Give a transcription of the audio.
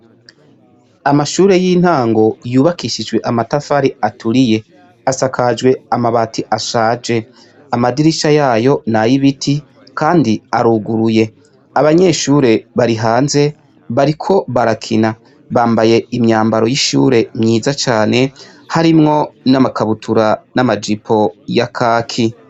Amashure y' intango yubakishijwe amatafari aturiye, asakajwe amabati ashaje amadirisha yayo n'ayibiti kandi aruguruye abanyeshure bari hanze bariko barakina bambaye imyambaro y'ishure myiza cane, harimwo amakabutura n'amajipo ya kaki.